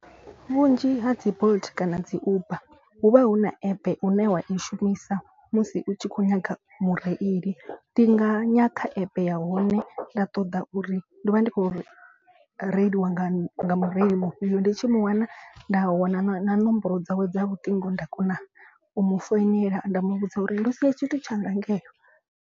Vhunzhi ha dzi bolt kana dzi uber hu vha hu na app une wa i shumisa musi u tshi kho nyaga mureili. Ndi nga nga ya kha app ya hone nda ṱoḓa uri ndo vha ndi khou reiliwa nga mureili mufhio. Ndi tshi mu wana nda wana na nomboro dzawe dza luṱingo nda kona u mu founela. Nda mu vhudza uri ndo sia tshithu tshanga ngeo.